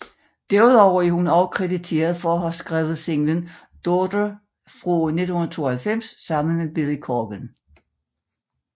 Derudover er hun også krediteret for at have skrevet singlen Daughter fra 1992 sammen med Billy Corgan